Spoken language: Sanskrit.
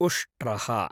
उष्ट्रः